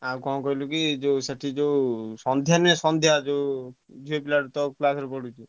ଆଉ କଣ କହିଲୁ କି ସେଠି ଯୋଉ ସନ୍ଧ୍ୟା ନୁହଁ ସନ୍ଧ୍ୟା ଯୋଉ ଝିଅ ପିଲା ତୋ class ରେ ପଢୁଛି।